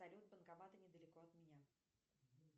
салют банкоматы недалеко от меня